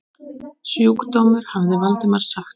Sjúkdómur hafði Valdimar sagt.